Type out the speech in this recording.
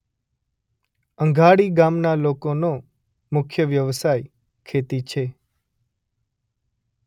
અંધાડી ગામના લોકોનો મુખ્ય વ્યવસાય ખેતી છે.